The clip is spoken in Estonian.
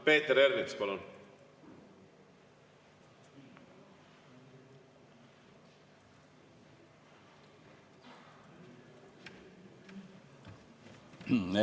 Peeter Ernits, palun!